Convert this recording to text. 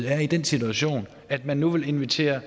er i den situation at man nu vil invitere og